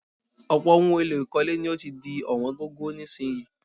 Ọ̀pọ̀ ohun èlò ìkọ́lé ni ó ti di ọ̀wọ́n gógó nísìnyií